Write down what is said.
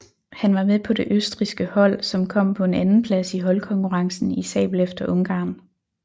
Han var med på det østrigske hold som kom på en andenplads i holdkonkurrencen i sabel efter Ungarn